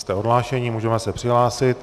Jste odhlášeni, můžeme se přihlásit.